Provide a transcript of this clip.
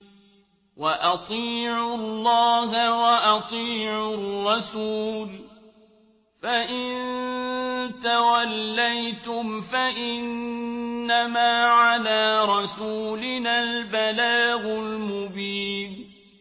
وَأَطِيعُوا اللَّهَ وَأَطِيعُوا الرَّسُولَ ۚ فَإِن تَوَلَّيْتُمْ فَإِنَّمَا عَلَىٰ رَسُولِنَا الْبَلَاغُ الْمُبِينُ